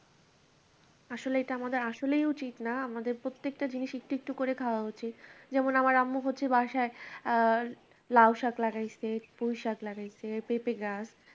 আসলে এটা আমাদের আসলেই উচিত না আমাদের প্রত্যেকটা জিনিস একটু একটু করে খাওয়া উচিত যেমন আমার আম্মু করছে বাসায় আ লাও শাক লাগাইসে পুঁইশাক লাগাইসে পেঁপে গাছ